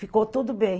Ficou tudo bem.